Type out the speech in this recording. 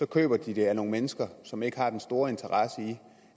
køber de det af nogle mennesker som ikke har den store interesse i